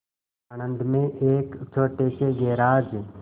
आणंद में एक छोटे से गैराज